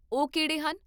ਉਹ ਕਿਹੜੇ ਹਨ?